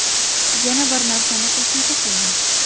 Yana bir narsani qo‘shimcha qilaman.